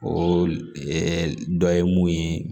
O dɔ ye mun ye